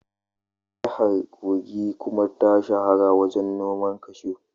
Jihar Kogi kuma ta shahara wajen noman kashu.